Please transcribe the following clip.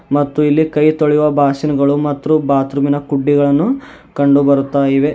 ಮತ್ತು ಇಲ್ಲಿ ಕೈ ತೊಳೆಯುವ ಬಾಷಿನ್ ಗಳು ಮತ್ರು ಬಾತ್ ರೂಮ್ ಇನ ಕುಡ್ಡಿಗಳನ್ನು ಕಂಡುಬರುತ್ತಾಯಿವೆ.